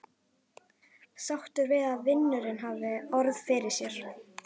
Sáttur við að vinurinn hafi orð fyrir sér.